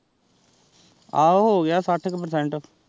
ਆਹੋ ਹੋ ਗਯਾ ਸਾਥ ਪੇਰ੍ਚੇੰਟ